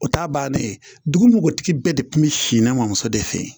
O t'a bannen ye dugutigi bɛɛ de kun bɛ si ne mɔmuso de fɛ yen